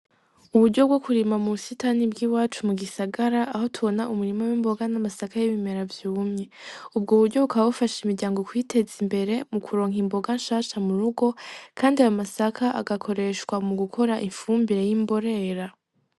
Uburyo bwo kurima mu busitani bw'iwacu mu gisagara aho tubona umurima w'imboga n'amasaka y'ibimera vyumye, ubwo buryo bukaba bufasha imiryango kwiteza imbere m kuronka imboga shasha murugo kandi ayo masaka agakoreshwa mu gukora ifumbire y'imborera.